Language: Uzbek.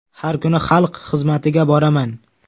Har kuni xalq xizmatiga boraman.